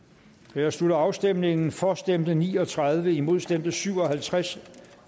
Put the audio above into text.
jeg slutter afstemningen for stemte ni og tredive imod stemte syv og halvtreds